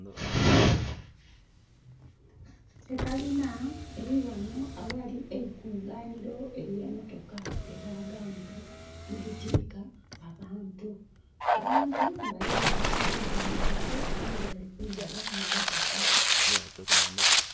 Ekalina eriwano awali eikunganiro erye mmotoka we daganana ni ditiika abantu. Abantu baliwano abandi bemeleire abandi bali kunjira mu motoka